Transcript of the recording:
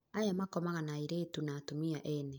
aya makomaga na airĩtu na atumia ene